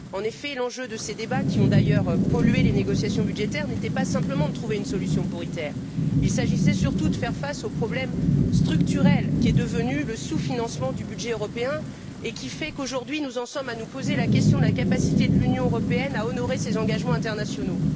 En effet, l'enjeu de ces débats qui ont d'ailleurs pollué les négociations budgétaires n'était pas simplement de trouver une solution pour ITER il s'agissait surtout de faire face au problème structurel qu'est devenu le sous financement du budget européen, qui fait qu'aujourd'hui, nous en sommes à nous poser la question de la capacité de l'Union européenne à honorer ses engagements internationaux.